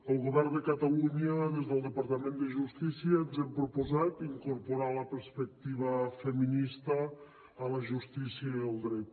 el govern de catalunya des del departament de justícia ens hem proposat incorporar la perspectiva feminista a la justícia i al dret